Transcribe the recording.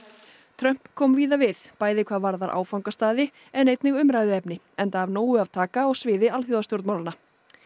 Trump kom víða við bæði hvað varðar áfangastaði en einnig umræðuefni enda af nógu að taka á sviði alþjóðastjórnmálanna